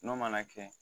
N'o mana kɛ